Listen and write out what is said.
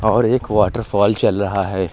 और एक वॉटरफॉल चल रहा है।